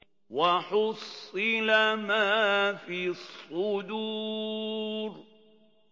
وَحُصِّلَ مَا فِي الصُّدُورِ